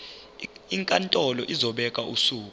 inkantolo izobeka usuku